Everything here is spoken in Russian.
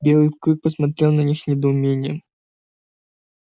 белый клык посмотрел на них с недоумением